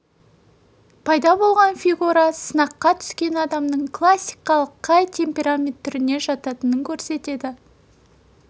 пайда болған фигура сынаққа түскен адамның классикалық қай темперамент түріне жататынын көрсетеді